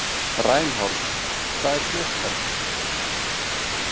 Reinhold, hvað er klukkan?